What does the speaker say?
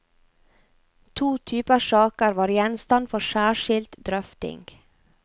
To typer saker var gjenstand for særskilt drøfting.